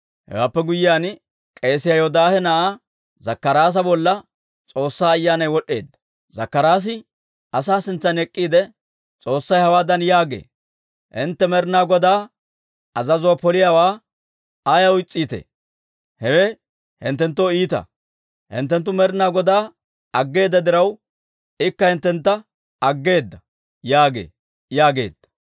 Hewaappe guyyiyaan, k'eesiyaa Yoodaahe na'aa Zakkaraasa bolla S'oossaa Ayyaanay wod'd'eedda; Zakkaraasi asaa sintsan ek'k'iide, «S'oossay hawaadan yaagee; ‹Hintte Med'inaa Godaa azazuwaa poliyaawaa ayaw is's'iitee? Hewe hinttenttoo iita. Hinttenttu Med'inaa Godaa aggeeda diraw, ikka hinttentta aggeedda› yaagee» yaageedda.